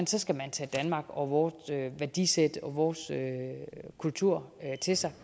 skal man tage danmark og vort værdisæt og vores kultur til sig